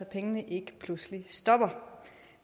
pengene ikke pludselig stopper